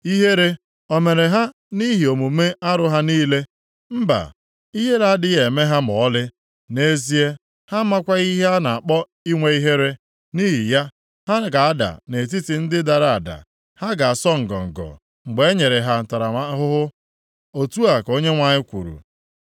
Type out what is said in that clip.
Ihere o mere ha nʼihi omume arụ ha niile? Mba! Ihere adịghị eme ha ma ọlị; nʼezie, ha amakwaghị ihe a na-akpọ inwe ihere. Nʼihi ya, ha ga-ada nʼetiti ndị dara ada; ha ga-asọ ngọngọ mgbe e nyere ha ntaramahụhụ. Otu a ka Onyenwe anyị kwuru.